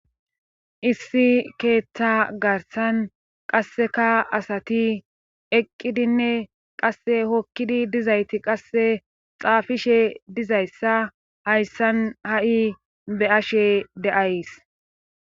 Issi keeththa garsan qasseka asati eqqidinne qasse hokkidi dizayti qasse xaafishe dizayssa hayssan ha7i be ashe deays